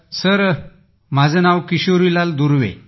sir माझे नाव किशोरीलाल दुर्वे आहे